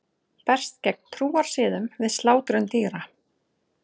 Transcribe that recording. Berst gegn trúarsiðum við slátrun dýra